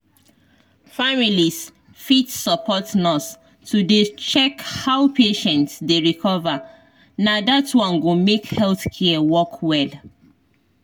families fit support nurse to dey check how patient dey recover na dat one go make health care work well.